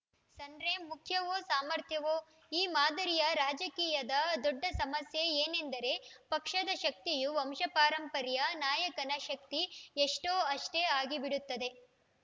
surname ಮುಖ್ಯವೋ ಸಾಮರ್ಥ್ಯವೋ ಈ ಮಾದರಿಯ ರಾಜಕೀಯದ ದೊಡ್ಡ ಸಮಸ್ಯೆ ಏನೆಂದರೆ ಪಕ್ಷದ ಶಕ್ತಿಯು ವಂಶಪಾರಂಪರ್ಯ ನಾಯಕನ ಶಕ್ತಿ ಎಷ್ಟೋ ಅಷ್ಟೇ ಆಗಿಬಿಡುತ್ತದೆ